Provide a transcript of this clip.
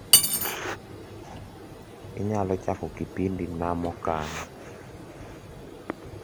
inyalo chako kipindi na mokan